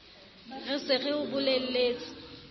re se re o bolelletse